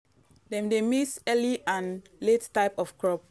dem dey mix early and late type of crop.